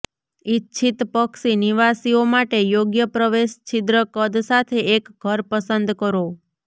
ઇચ્છિત પક્ષી નિવાસીઓ માટે યોગ્ય પ્રવેશ છિદ્ર કદ સાથે એક ઘર પસંદ કરો